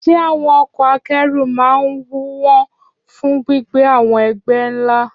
Ṣé àwọn ọkọ̀ akẹ́rù máa ń wọ́n fún gbígbé àwọn ẹgbẹ́ ńlá?